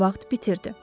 vaxt bitirdi.